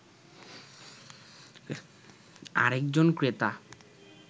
আরেকজন ক্রেতা